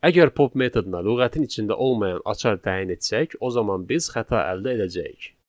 Əgər pop metoduna lüğətin içində olmayan açar təyin etsək, o zaman biz xəta əldə edəcəyik.